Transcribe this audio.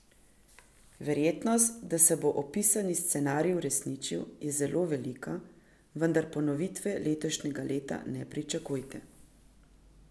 Verjetnost, da se bo opisani scenarij uresničil, je zelo velika, vendar ponovitve letošnjega leta ne pričakujte.